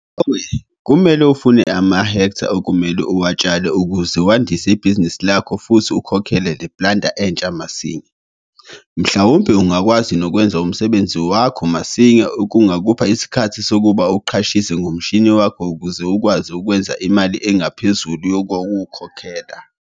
Ngakho-ke kumele ufune amahektha okumele uwatshale ukuze wandise ibhizinisi lakho futhi ukhokhele leplanter entsha masinya. Mhlawumbe ungakwazi nokwenza umsebenzi wakho masinya okungakupha isikhathi sokuba uqashise ngomshini wakho ukuze ukwazi ukwenza imali engaphezulu yokuwukhokhela.